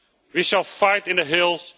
we shall fight in the hills